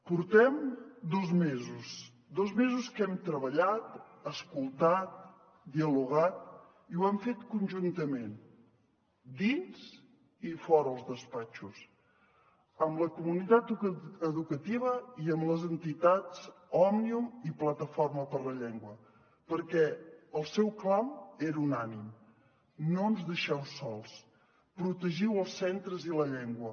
portem dos mesos dos mesos que hem treballat escoltat dialogat i ho hem fet conjuntament dins i fora els despatxos amb la comunitat educativa i amb les entitats òmnium i plataforma per la llengua perquè el seu clam era unànime no ens deixeu sols protegiu els centres i la llengua